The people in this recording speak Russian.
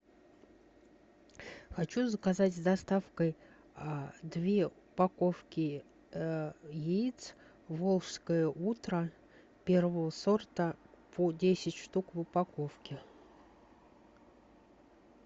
хочу заказать с доставкой две упаковки яиц волжское утро первого сорта по десять штук в упаковке